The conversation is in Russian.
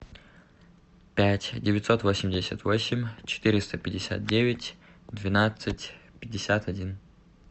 пять девятьсот восемьдесят восемь четыреста пятьдесят девять двенадцать пятьдесят один